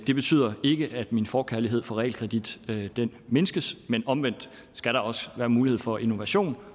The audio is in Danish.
det betyder ikke at min forkærlighed for realkredit mindskes men omvendt skal der også være mulighed for innovation